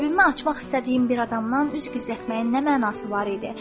Qəlbimi açmaq istədiyim bir adamdan üz gizlətməyin nə mənası var idi?